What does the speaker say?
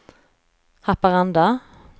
Haparanda